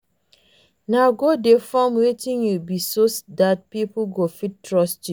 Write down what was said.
no go dey form wetin you no be so dat pipo go fit trust you